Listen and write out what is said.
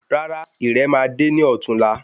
Rárá irè ma de ní ọtún la